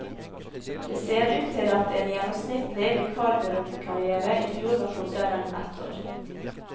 Det ser ut til at en gjennomsnittlig vikarbyråkarrière i fjor var kortere enn ett år.